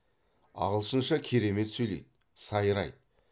ағылшынша керемет сөйлейді сайрайды